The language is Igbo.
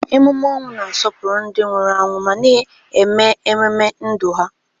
Emume ọnwụ na-asọpụrụ ndị nwụrụ anwụ ma na-eme ememe ndụ ha.